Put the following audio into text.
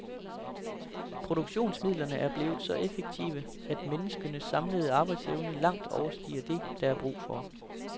Produktionsmidlerne er blevet så effektive, at menneskenes samlede arbejdsevne langt overstiger det, der er brug for.